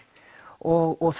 og